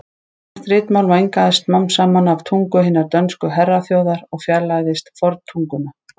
Íslenskt ritmál mengaðist smám saman af tungu hinnar dönsku herraþjóðar og fjarlægðist forntunguna.